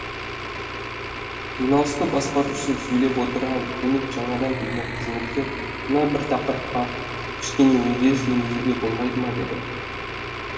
жиналысты басқарушы сөйлеп отырған кенет жаңадан келген қызметкер мына бір тақырыпқа кішкене өзгеріс енгізуге болмайды ма деді